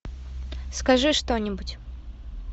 скажи что нибудь